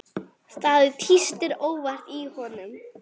Það tístir óvart í honum.